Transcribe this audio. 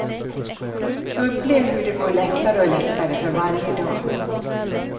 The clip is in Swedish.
Upplev hur det går lättare och lättare för varje dag.